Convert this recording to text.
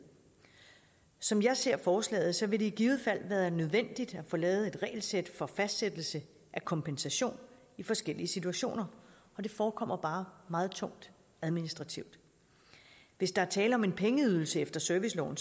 som jeg ser forslaget vil det i givet fald være nødvendigt at få lavet et regelsæt for fastsættelse af kompensation i forskellige situationer og det forekommer bare meget tungt administrativt hvis der er tale om pengeydelser efter serviceloven